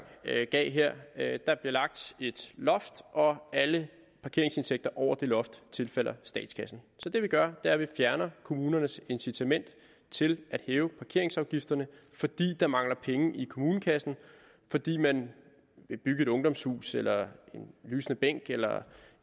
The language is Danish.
gav her der bliver lagt et loft og alle parkeringsindtægter over det loft tilfalder statskassen så det vi gør er at vi fjerner kommunernes incitament til at hæve parkeringsafgifterne fordi der mangler penge i kommunekassen fordi man vil bygge et ungdomshus eller en lysende bænk eller